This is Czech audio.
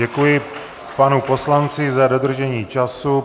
Děkuji panu poslanci za dodržení času.